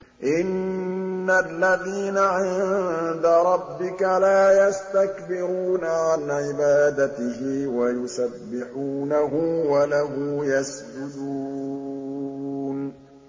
إِنَّ الَّذِينَ عِندَ رَبِّكَ لَا يَسْتَكْبِرُونَ عَنْ عِبَادَتِهِ وَيُسَبِّحُونَهُ وَلَهُ يَسْجُدُونَ ۩